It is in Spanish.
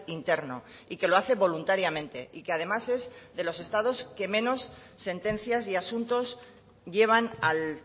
interno y que lo hace voluntariamente y que además es de los estados que menos sentencias y asuntos llevan al